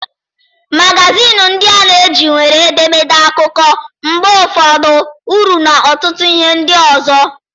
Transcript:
Magazịịnị ndị a na-eji nwere edemede, akụkọ, mgbe ụfọdụ uri na ọtụtụ ihe ndị ọzọ.